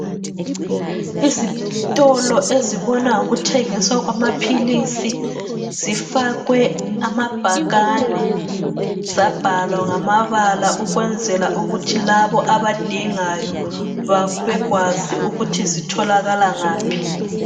Izitolo ezibona ngokuthengiswa kwamaphilisi zifakwe amabhakane zabhalwa ngamabala ukwenzela ukuthi labo abadingayo babe kwazi ukuthi zitholakala ngaphi .